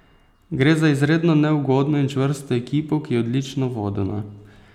Gre za izredno neugodno in čvrsto ekipo, ki je odlično vodena.